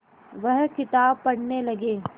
वह किताब पढ़ने लगे